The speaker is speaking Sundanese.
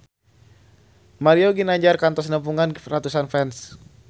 Mario Ginanjar kantos nepungan ratusan fans